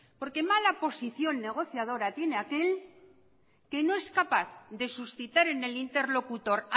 porque mala posición negociadora tiene aquel que no es capaz de suscitar en el interlocutor